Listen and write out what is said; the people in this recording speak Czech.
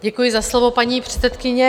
Děkuji za slovo, paní předsedkyně.